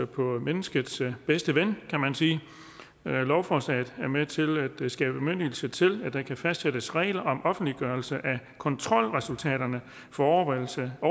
på menneskets bedste ven kan man sige lovforslaget er med til at skabe bemyndigelse til at der kan fastsættes regler om offentliggørelse af kontrolresultaterne for overholdelse af